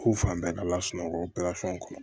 Ko fan bɛɛ ka ala sunɔgɔ petasɔn kɔnɔ